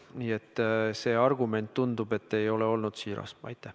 Nii et argument, tundub, ei ole olnud siiras.